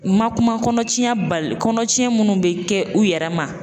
Ma kuma kɔnɔ tiɲɛ bali kɔnɔtiɲɛ minnu bɛ kɛ u yɛrɛ ma.